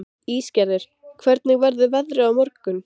Ísgerður, hvernig verður veðrið á morgun?